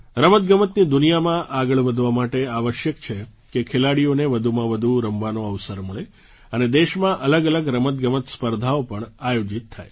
રમતગમતની દુનિયામાં આગળ વધવા માટે આવશ્યક છે કે ખેલાડીઓને વધુમાં વધુ રમવાનો અવસર મળે અને દેશમાં અલગઅલગ રમતગમત સ્પર્ધાઓ પણ આયોજિત થાય